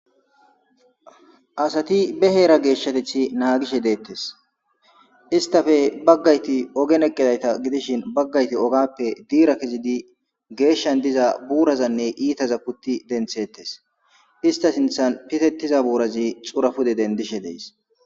Asati be heera geeshshatethi naagishe deettes istafe baggayti ogen eqqidayta gidishin baggayti ogappe diira kizidi geeshshan diza buurazanne iitaza kutti denthettes ista sinthan pitetiza buurazi xurapude dendishe dees.